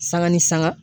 Sanga ni sanga